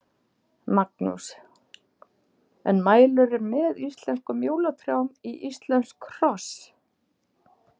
Magnús: En mælirðu með íslenskum jólatrjám í íslensk hross?